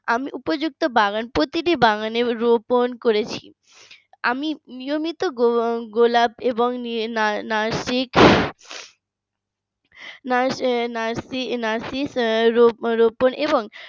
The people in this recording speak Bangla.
আমি উপযুক্ত বাগান প্রতিটি বাগানে রোপন করেছি আমি নিয়মিত গো গোলাপ এবং নাফিস নাফিস রোপন এবং